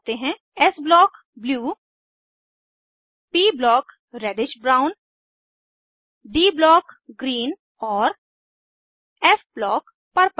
S block blue P block reddish brown D block green और F block purple